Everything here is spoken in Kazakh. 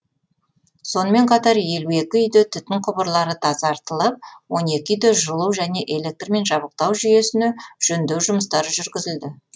сонымен қатар елу екі үйде түтін құбырлары тазартылып он екі үйде жылу және электрмен жабдықтау жүйесіне жөндеу жұмыстары жүргізілді